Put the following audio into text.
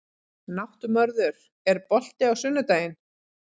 Náttmörður, er bolti á sunnudaginn?